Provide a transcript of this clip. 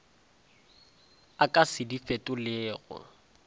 a ka se di fetolego